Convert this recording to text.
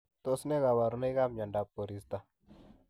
Tos nee kabarunoik ap miondop koristoo .